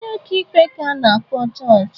Onye ọka ikpe ka a na-akpọ jọjị.